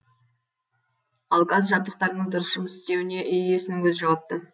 ал газ жабдықтарының дұрыс жұмыс істеуіне үй иесінің өзі жауапты